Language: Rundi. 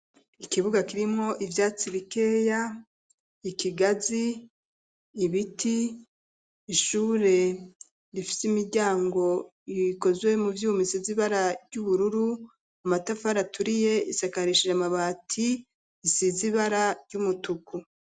Ikibuga kirimwo ivyatsi bikeya, ikigazi, ibiti, ishure rifise imiryango ikozwe mu vyuma isize ibara ry'ubururu, amatafari aturiye isakarishije amabati isizibara ry'umutuku.